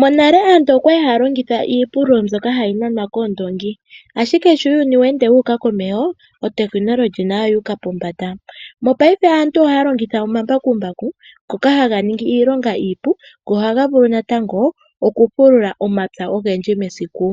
Monale aantu okwali haya longitha iipululo mbyoka hayi nanwa koondongi, ashike uuyuni sho weende wuuka komeho, otekinolohi nayo otayi ende yuuka pombanda. Mopaife aantu otaya longitha omambakumbaku ngoka haga ningi iilonga iipu, go ohaga vulu natango okupulula omapya ogendji mesiku.